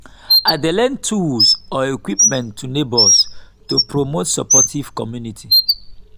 i dey lend tools or equipment to neighbors to promote supportive community.